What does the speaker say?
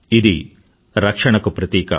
ఇది రక్షణకు ప్రతీక